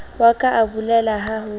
wa ka abolela ha ho